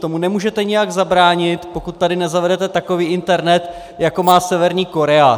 Tomu nemůžete nijak zabránit, pokud tady nezavedete takový internet, jako má Severní Korea.